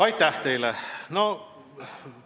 Aitäh teile!